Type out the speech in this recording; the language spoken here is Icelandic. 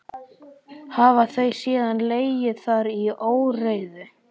Hafa þau síðan legið þar í óreiðu.